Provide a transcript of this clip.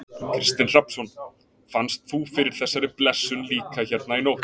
Kristinn Hrafnsson: Fannst þú fyrir þessari blessun líka hérna í nótt?